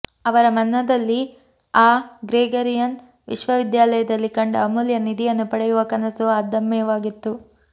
ಅವರ ಮನದಲ್ಲಿ ಆ ಗ್ರೆಗರಿಯನ್ ವಿಶ್ವವಿದ್ಯಾಲಯದಲ್ಲಿ ಕಂಡ ಅಮೂಲ್ಯ ನಿಧಿಯನ್ನು ಪಡೆಯುವ ಕನಸು ಅದಮ್ಯವಾಗಿತ್ತು